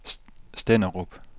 Stenderup